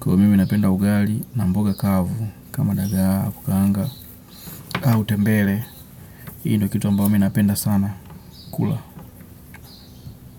Kwa mimi napenda ugari. Na mboga kavu kama dagaa, kukaanga. Au tembele io ndio kitu mimi napenda sana kula.